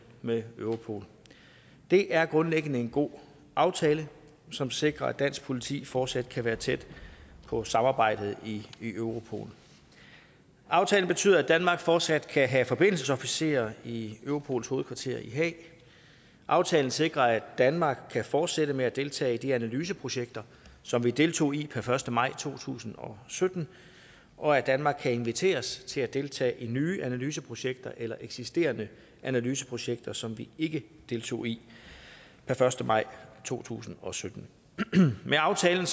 med europol det er grundlæggende en god aftale som sikrer at dansk politi fortsat kan være tæt på samarbejdet i i europol aftalen betyder at danmark fortsat kan have forbindelsesofficerer i europols hovedkvarter i haag aftalen sikrer at danmark kan fortsætte med at deltage i de analyseprojekter som vi deltog i per første maj to tusind og sytten og at danmark kan inviteres til at deltage i nye analyseprojekter eller eksisterende analyseprojekter som vi ikke deltog i per første maj to tusind og sytten med aftalen